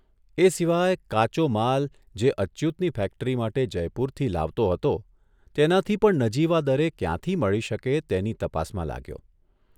એ સિવાય કાચો માલ જે અચ્યુતની ફેક્ટરી માટે જયપુરથી લાવતો હતો તેનાથી પણ નજીવા દરે ક્યાંથી મળી શકે તેની તપાસમાં લાગ્યો.